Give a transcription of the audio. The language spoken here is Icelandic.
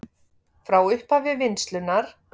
Frá upphafi vinnslunnar